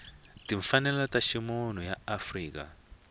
timfanelo ta ximunhu ya afrika